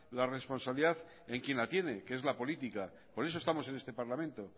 la responsabilidad en quien la tiene que es la política por eso estamos en este parlamento